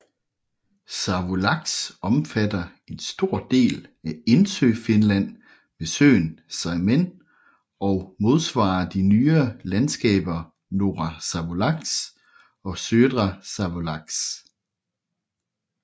Savolax omfatter en stor del af Indsøfinland med søen Saimen og modsvarer de nyere landskaber Norra Savolax og Södra Savolax